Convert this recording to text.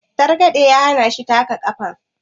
targade ya hana shi taka kafar